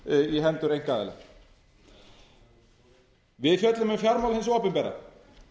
í hendur einkaaðila við fjöllum um fjármál hins opinbera